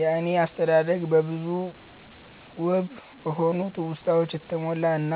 የኔ አስተዳደግ በብዙ ውብ በሆኑ ትውስታወች የተሞላ እና